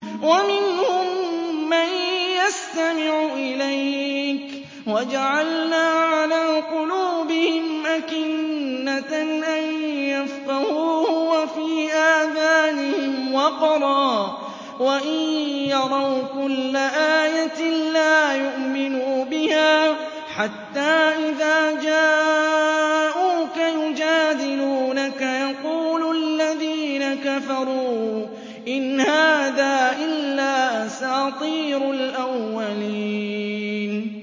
وَمِنْهُم مَّن يَسْتَمِعُ إِلَيْكَ ۖ وَجَعَلْنَا عَلَىٰ قُلُوبِهِمْ أَكِنَّةً أَن يَفْقَهُوهُ وَفِي آذَانِهِمْ وَقْرًا ۚ وَإِن يَرَوْا كُلَّ آيَةٍ لَّا يُؤْمِنُوا بِهَا ۚ حَتَّىٰ إِذَا جَاءُوكَ يُجَادِلُونَكَ يَقُولُ الَّذِينَ كَفَرُوا إِنْ هَٰذَا إِلَّا أَسَاطِيرُ الْأَوَّلِينَ